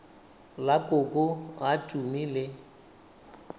la koko a tumi le